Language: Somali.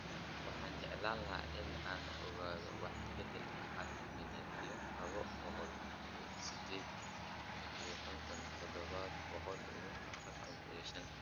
Waxaan jeclaan lahaa in aan ogaado waxa bedka hal milyan iyo laba boqol iyo siddeed iyo konton, toddoba boqol iyo afartan iyo shan